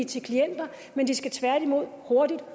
til klienter men de skal tværtimod hurtigt